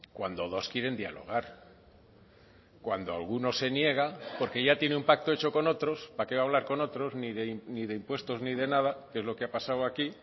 cuando dos quieren dialogar cuando alguno se niega porque ya tiene un pacto hecho con otros para qué hablar con otros ni de impuestos ni de nada que es lo que ha pasado aquí